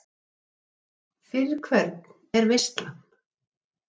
Hugrún Halldórsdóttir: En fyrir hvern er veislan?